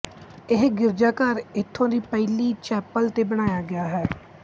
ਇਹ ਗਿਰਜਾਘਰ ਇਥੋਂ ਦੀ ਪਹਿਲੀ ਚੈਪਲ ਤੇ ਬਣਾਇਆ ਗਇਆ